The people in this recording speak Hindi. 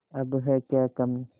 अब है क्या कमीं